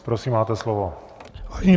Prosím, máte slovo.